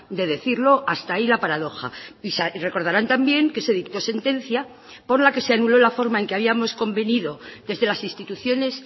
de decirlo hasta ahí la paradoja y recordarán también que se dictó sentencia por la que se anuló la forma en que habíamos convenido desde las instituciones